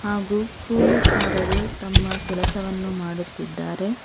ಹಾಗು ಕೂಲಿಕಾರರು ತಮ್ಮ ಕೆಲಸವನ್ನು ಮಾಡುತ್ತಿದ್ದಾರೆ.